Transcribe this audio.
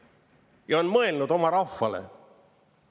Ja on mõelnud oma rahvale.